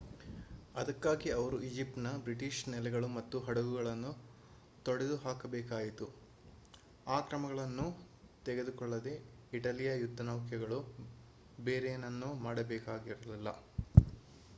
ಅದಕ್ಕಾಗಿ ಅವರು ಈಜಿಪ್ಟ್‌ನ ಬ್ರಿಟಿಷ್ ನೆಲೆಗಳು ಮತ್ತು ಹಡಗುಗಳನ್ನು ತೊಡೆದುಹಾಕಬೇಕಾಯಿತು. ಆ ಕ್ರಮಗಳನ್ನು ತೆಗೆದಕೊಳ್ಳದೇ ಇಟಲಿಯ ಯುದ್ಧನೌಕೆಗಳು ಬೇರೇನನ್ನೂ ಮಾಡಬೇಕಾಗಿರಲಿಲ್ಲ